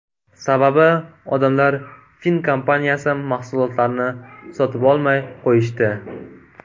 Sababi - odamlar fin kompaniyasi mahsulotlarini sotib olmay qo‘yishdi.